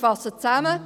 Ich fasse zusammen: